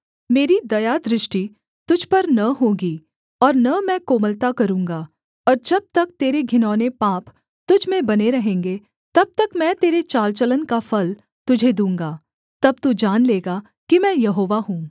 मेरी दयादृष्टि तुझ पर न होगी और न मैं कोमलता करूँगा और जब तक तेरे घिनौने पाप तुझ में बने रहेंगे तब तक मैं तेरे चालचलन का फल तुझे दूँगा तब तू जान लेगा कि मैं यहोवा हूँ